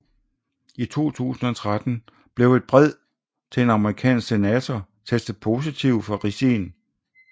I 2013 blev et brev til en amerikansk senator testet positiv for ricin